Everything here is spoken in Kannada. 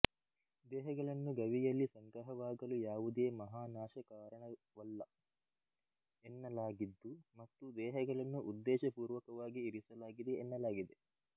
ದೇಹಗಳನ್ನು ಗವಿಯಲ್ಲಿ ಸಂಗ್ರಹವಾಗಲು ಯಾವುದೇ ಮಹಾನಾಶ ಕಾರಣವಲ್ಲ ಎನ್ನಲಾಗಿದ್ದು ಮತ್ತು ದೇಹಗಳನ್ನು ಉದ್ಧೇಶ ಪೂರ್ವಕವಾಗಿ ಇರಿಸಲಾಗಿದೆ ಎನ್ನಲಾಗಿದೆ